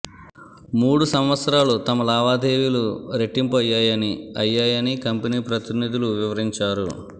మూడు సంవత్సరాలు తమ లావాదేవీలు రెట్టింపు అయ్యాయని అయ్యాయని కంపెనీ ప్రతినిధులు వివరించారు